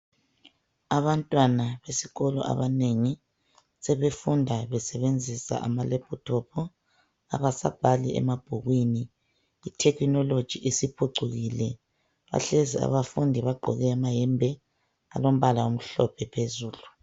Abantwana besikolo abanengi sebefunda besebenzisa amalephuthophu. Abasabhali emabhukwini. Ithekhinoloji isiphucukile. Bahlezi abafundi bagqoke amayembe alombala omhlophe phezulu.